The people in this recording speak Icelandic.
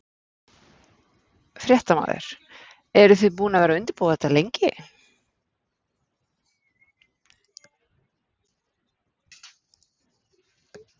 Fréttamaður: Eruð þið búin að vera að undirbúa þetta lengi?